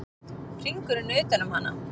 Hringurinn utan um hana.